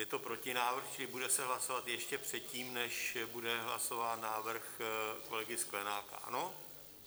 Je to protinávrh, čili se bude hlasovat ještě předtím, než bude hlasován návrh kolegy Sklenáka, ano?